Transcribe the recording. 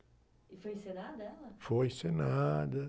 E foi encenada ela?oi encenada...